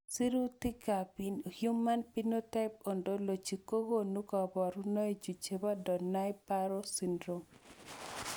Sirutikab Human Phenotype Ontology kokonu koborunoikchu chebo Donnai Barrow syndrome.